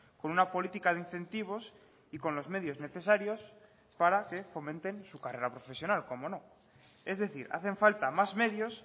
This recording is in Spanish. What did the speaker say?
con una política de incentivos y con los medios necesarios para que fomenten su carrera profesional cómo no es decir hacen falta más medios